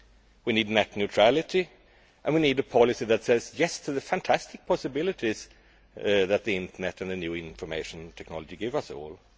We need net neutrality and we need a policy that says yes' to the fantastic possibilities that the internet and the new information technology give us all.